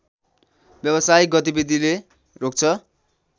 व्यवसायिक गतिविधिले रोक्छ